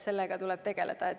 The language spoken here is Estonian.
Sellega tuleb tegeleda.